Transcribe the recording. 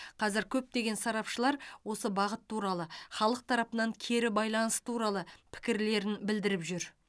қазір көптеген сарапшылар осы бағыт туралы халық тарапынан кері байланыс туралы пікірлерін білдіріп жүр